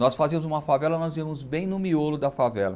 Nós fazíamos uma favela, nós íamos bem no miolo da favela.